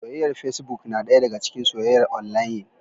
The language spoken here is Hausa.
Soyyayar fecibok na ɗaya daga cikin soyyayar onlayin.